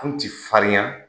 Anw ti farinya